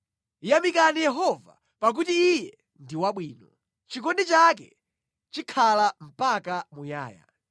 Yamikani Yehova, pakuti Iye ndi wabwino; chikondi chake chikhala mpaka muyaya.